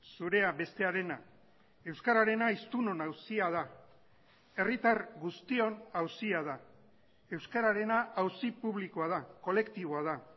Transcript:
zurea bestearena euskararena hiztunon auzia da herritar guztion auzia da euskararena auzi publikoa da kolektiboa da